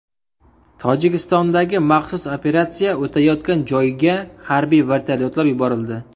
Tojikistondagi maxsus operatsiya o‘tayotgan joyga harbiy vertolyotlar yuborildi.